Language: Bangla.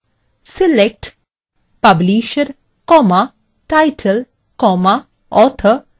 select publisher title author